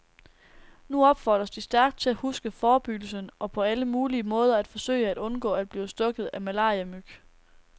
Nu opfordres de stærkt til at huske forebyggelsen og på alle mulige måder at forsøge at undgå at blive stukket af malariamyg.